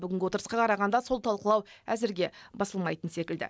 бүгінгі отырысқа қарағанда сол талқылау әзірге басылмайтын секілді